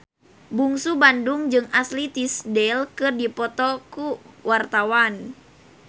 Bungsu Bandung jeung Ashley Tisdale keur dipoto ku wartawan